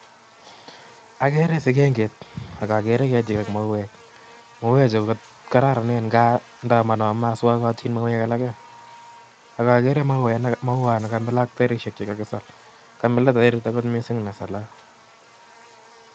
Akere sigenget ak akere ketik ako mauwek mauwechu kokararanen nka maswakatin mauwek alake akakere mauwat nakamila ak tairishek che kakisal Kamila angot tairit nesalat